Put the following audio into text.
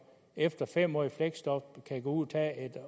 efter fem år i fleksjob kan gå ud og tage et